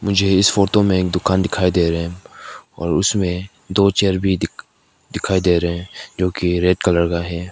मुझे इस फोटो में एक दुकान दिखाई दे रहे और उसमें दो चेयर भी दिख दिखाई दे रहे हैं जो की रेड कलर का है।